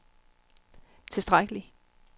tilstrækkelig